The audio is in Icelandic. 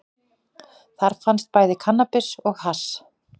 Þar fannst bæði kannabis og hass